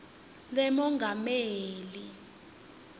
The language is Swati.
lemongameli